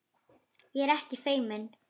Ég er ekkert feimin.